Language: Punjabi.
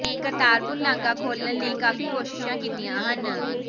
ਨੇ ਕਰਤਾਰਪੁਰ ਲਾਂਘਾ ਖੋਲ੍ਹਣ ਲਈ ਕਾਫੀ ਕੋਸ਼ਿਸ਼ਾਂ ਕੀਤੀਆਂ ਹਨ